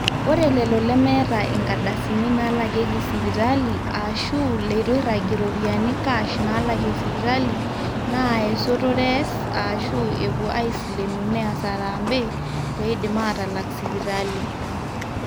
ore lelo lemeeta inkardasini naalakieki sipitali aashu leitu eiragie iropiyiani cash naalakie sipitali naa esotore ees aashu epuo aaisilenu neas harambee pee eidim aatalak sipitali